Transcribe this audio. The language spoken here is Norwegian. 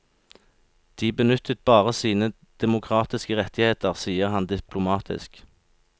De benyttet bare sine demokratiske rettigheter, sier han diplomatisk.